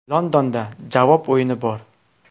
Londonda javob o‘yini bor.